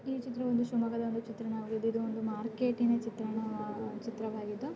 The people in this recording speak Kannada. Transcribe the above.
ಈ ಚಿತ್ರ ಒಂದು ಶಿವಮೊಗ್ಗದ ಚಿತ್ರಣ ಇದು ಒಂದು ಮಾರ್ಕೆಟಿನ ಚಿತ್ರಣ ಚಿತ್ರವಾಗಿದ್ದು.